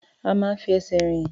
A máa ń fi ẹsẹ̀ rìn.